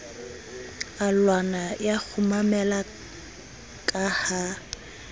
alwana ya kgumamela ka ha